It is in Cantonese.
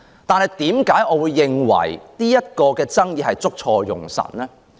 但是，為何我認為這項爭議捉錯用神呢？